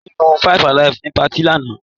Kemi mu five alive ní patí lánàá.